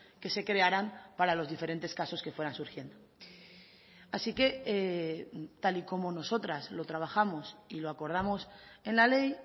que se crearán para los diferentes casos que fueran surgiendo así que tal y como nosotras lo trabajamos y lo acordamos en la ley